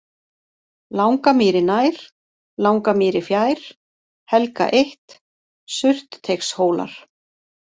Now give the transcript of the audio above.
Langamýri nær, Langamýri fjær, Helga 1, Surtteigshólar